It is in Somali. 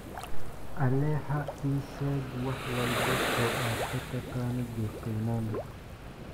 alexa ii sheeg wax walba oo aad ka taqaano jeff koinange